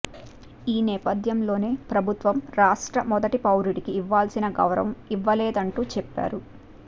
ఈ నేపథ్యంలోనే ప్రభుత్వం రాష్ట్ర మొదటి పౌరుడికి ఇవ్వాల్సిన గౌరవం ఇవ్వలేదంటూ చెప్పారు